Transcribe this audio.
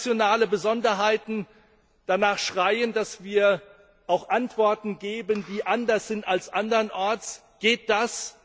Da, wo nationale Besonderheiten danach schreien, dass wir auch Antworten geben, die anders sind als andernorts, geht das.